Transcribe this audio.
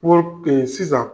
Pood sisan